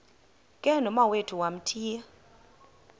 ke nomawethu wamthiya